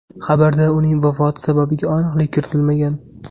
Xabarda uning vafoti sababiga aniqlik kiritilmagan.